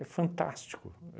É fantástico.